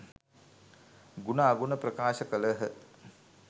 ගුණ අගුණ ප්‍රකාශ කළ හ.